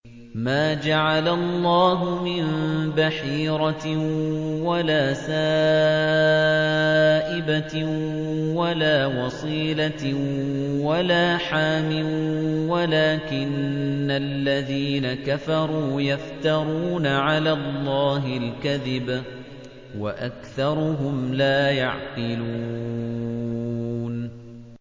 مَا جَعَلَ اللَّهُ مِن بَحِيرَةٍ وَلَا سَائِبَةٍ وَلَا وَصِيلَةٍ وَلَا حَامٍ ۙ وَلَٰكِنَّ الَّذِينَ كَفَرُوا يَفْتَرُونَ عَلَى اللَّهِ الْكَذِبَ ۖ وَأَكْثَرُهُمْ لَا يَعْقِلُونَ